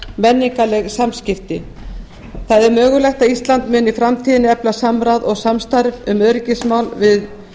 menningarleg samskipti það er mögulegt að ísland muni í framtíðinni efla samráð og samstarf um öryggismál við